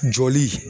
Jɔli